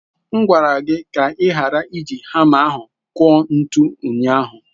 M gwara gị ka ị ghara iji hama ahụ kụọ ntu ụnyahụ.